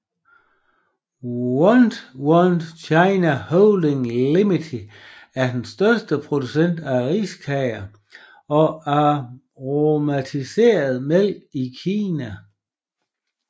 Want Want China Holdings Limited er den største producent af riskager og aromatiseret mælk i Kina